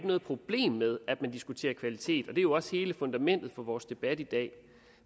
noget problem med at man diskuterer kvalitet og det er jo også hele fundamentet for vores debat i dag